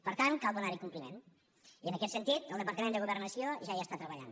per tant cal donar hi compliment i en aquest sentit el departament de governació ja hi està treballant